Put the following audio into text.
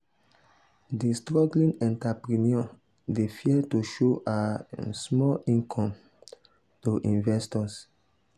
di struggling entrepreneur dey fear to show her um small income um to investors.